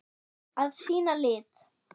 Að sýna lit.